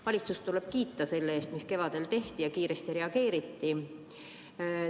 Valitsust tuleb kiita selle eest, mida kevadel tehti ja kui kiiresti reageeriti.